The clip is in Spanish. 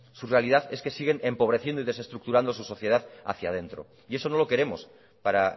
su realidad es que siguen empobreciendo y desestructurando su sociedad hacia dentro y eso no lo queremos para